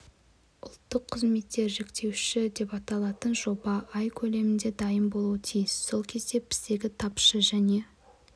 ұлттық қызметтер жіктеуіші деп аталатын жоба ай көлемінде дайын болуы тиіс сол кезде біздегі тапшы және